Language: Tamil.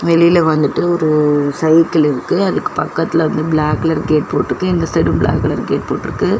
வெளில வந்துட்டு ஒரு சைக்கிள் இருக்கு அதுக்கு பக்கத்துல வந்து பிளாக் கலர் கேட் போட்ருக்கு இந்த சைடு பிளாக் கலர் கேட்டு போட்ருக்கு.